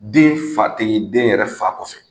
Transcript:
Den fa tɛ ye den yɛrɛ fa kɔfɛ.